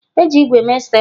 E ji ígwè mee stapler.